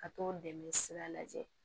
Ka t'o dɛmɛ sira lajɛ